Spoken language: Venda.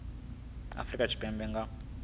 wa afrika tshipembe a nga